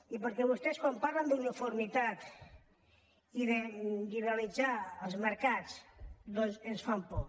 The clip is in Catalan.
i perquè vostès quan parlen d’uniformitat i de liberalitzar els mercats doncs ens fan por